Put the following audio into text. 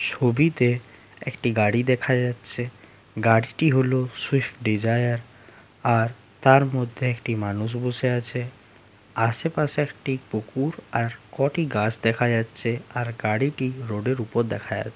ছবিতে একটি গাড়ি দেখা যাচ্ছে গাড়িটি হলো সুইফট ডিজায়ার আর তার মধ্যে একটি মানুষ বসে আছে আশেপাশে একটি পুকুর আর কটি গাছ দেখা যাচ্ছে আর গাড়িটি রোড -এর উপর দেখা--